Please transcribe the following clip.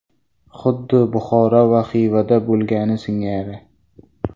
Xuddi Buxoro va Xivada bo‘lgani singari.